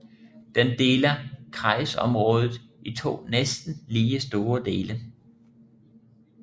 Den deler kreisområdet i to næsten lige store dele